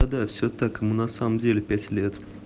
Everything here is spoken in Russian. надо все так ему на самом деле пять лет